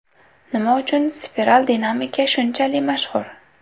Nima uchun spiral dinamika shunchali mashhur?